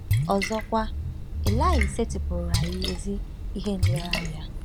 Ọzọkwa, Ilaị setịpụụrụ anyị ezi ihe nlereanya.